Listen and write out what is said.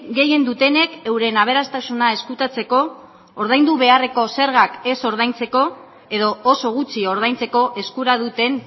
gehien dutenek euren aberastasuna ezkutatzeko ordaindu beharreko zergak ez ordaintzeko edo oso gutxi ordaintzeko eskura duten